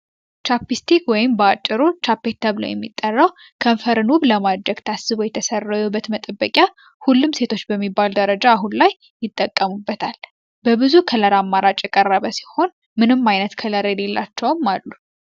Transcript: ቻፒስቲክ ወይም ባጭሩ ቻቤት ተብሎ የሚጠራው ከንፈር ውብ ለማድረግ ታስቦ የተሰራ የውበት መጠበቂያ ሁሉም ሴቶች በሚባል ደረጃ አሁን ላይ ይጠቀሙበታል። በብዙ ከለር አማራጭ የቀረበ ሲሆን ምንም አይነት ከለር የሌላቸውም አሉ።